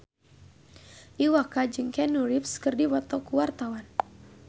Iwa K jeung Keanu Reeves keur dipoto ku wartawan